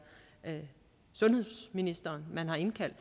sundhedsministeren man har indkaldt